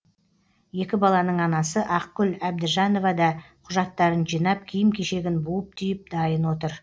екі баланың анасы ақгүл әбдіжанова да құжаттарын жинап киім кешегін буып түйіп дайын отыр